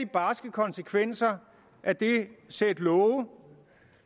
barske konsekvenser af det sæt love